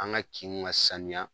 An ka kinw ka saniya.